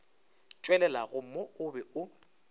tšwelelago mo o be o